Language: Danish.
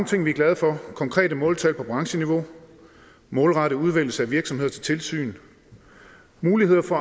ting vi er glade for konkrete måltal på brancheniveau målrettet udvælgelse af virksomheder til tilsyn mulighed for